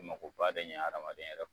Ma ko ba de ɲɛn adamaden yɛrɛ